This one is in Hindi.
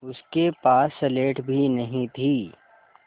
उसके पास स्लेट भी नहीं थी